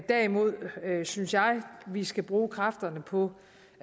derimod synes jeg vi skal bruge kræfterne på